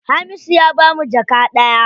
Hamisu ya bamu jaka ɗaya.